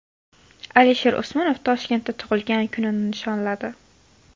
Alisher Usmonov Toshkentda tug‘ilgan kunini nishonladi .